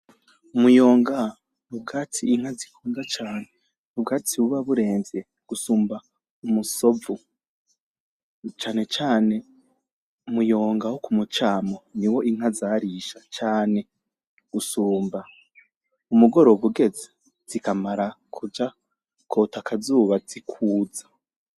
Umuyonga n’ubwatsi inka zikunda cane, ubwatsi buba buremvye gusumba umusovu. Cane cane umuyonga wo kumucamo niwo inka zarisha cane gusumba. Umugoroba ugeze zikamara kuja kwota akazuba zikwuza